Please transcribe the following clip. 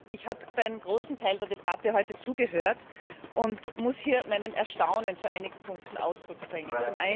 Ich habe bei einem großen Teil der Debatte heute zugehört und muss hier mein Erstaunen zu einigen Punkten zum Ausdruck bringen.